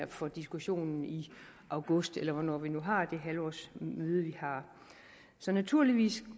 for diskussionen i august eller hvornår vi nu har det halvårsmøde vi har så naturligvis